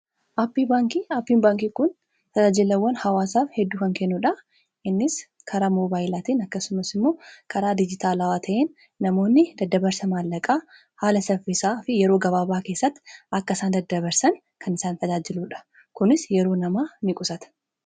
aapiin baankii kun fajaajilawwan hawaasaaf hedduu kan kennuudha innis karaa mobaayyilaatiin akkasumas immoo karaa dijitaalawaa ta'in namoonni daddabarsa maallaqaa haala saffisaa fi yeroo gabaabaa keessatti akkaisaan daddabarsan kan isaan fajaajiluudha kunis yeroo namaa in qusata